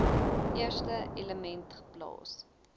eerste element geplaas